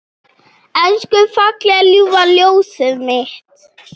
Elsku fallega ljúfa ljósið mitt.